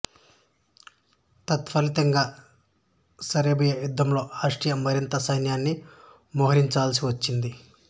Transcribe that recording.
తత్ఫలితంగా సెర్బియా యుద్ధంలో ఆస్ట్రియా మరింత సైన్యాన్ని మోహరించవలసి వచ్చింది